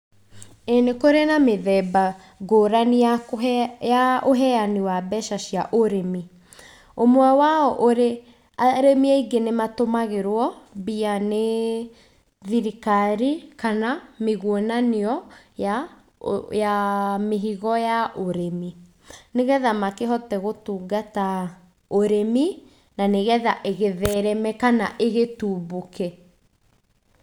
Ĩĩ nĩkũrĩ na mĩthemba mĩthemba ngũrani ya kũheana ya ũheani wa mbeca cia ũrĩmi. ũmwe wao ũrĩ, arĩmi aingĩ nĩmatũmagĩrwo mbia nĩthirikari kana mĩgwonanio ya mĩhigo ya ũrĩmi nĩgetha makĩhote gũtungata ũrĩmi na nĩgetha ĩgĩthereme kana ĩgĩtumbũke.